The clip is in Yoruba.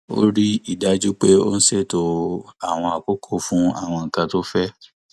ó rí i dájú pé òun ṣètò àwọn àkókò fún àwọn nǹkan tó fẹ